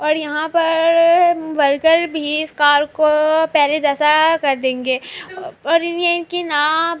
اور یہاں پر ورکر بھی اس کار کو پہلے جیسا کر دینگے اور یہ انکی ناپ--